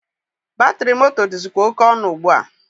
Batịrị moto dịzịkwa oke ọnụ ugbua.